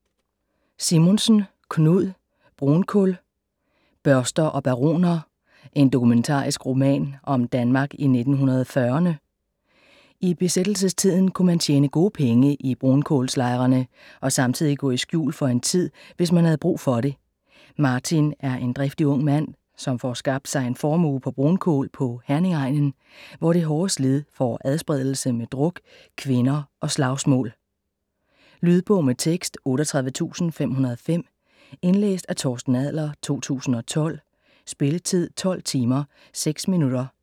Simonsen, Knud: Brunkul: børster og baroner: en dokumentarisk roman om Danmark i 1940'erne I besættelsestiden kunne man tjene gode penge i brunkulslejerne og samtidig gå i skjul for en tid, hvis man havde brug for det. Martin er en driftig ung mand, som får skabt sig en formue på brunkul på Herningegnen, hvor det hårde slid får adspredelse med druk, kvinder og slagsmål. Lydbog med tekst 38505 Indlæst af Torsten Adler, 2012. Spilletid: 12 timer, 6 minutter.